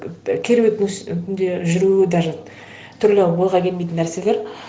керуеттің түнде жүру даже түрлі ойға келмейтін нәрселер